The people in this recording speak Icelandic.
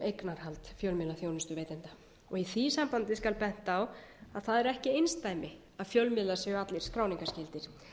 eignarhald fjölmiðlaþjónustuveitenda og í því sambandi skal bent á að það er ekki einsdæmi að fjölmiðlar séu allir skráningarskyldir